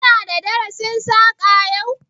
Ki na da darasin Saƙa yau?